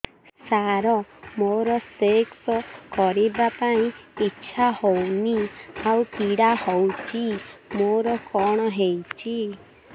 ସାର ମୋର ସେକ୍ସ କରିବା ପାଇଁ ଇଚ୍ଛା ହଉନି ଆଉ ପୀଡା ହଉଚି ମୋର କଣ ହେଇଛି